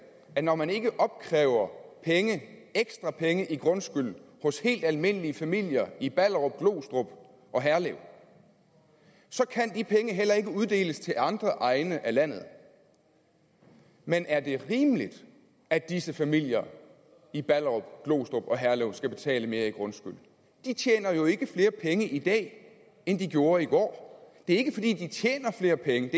at når man ikke opkræver ekstra penge i grundskyld hos helt almindelige familier i ballerup glostrup og herlev så kan de penge heller ikke uddeles til andre egne af landet men er det rimeligt at disse familier i ballerup glostrup og herlev skal betale mere i grundskyld de tjener jo ikke flere penge i dag end de gjorde i går det er ikke fordi de tjener flere penge